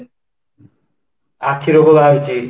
ଆଖି ରୋଗ ବାହାରୁଛି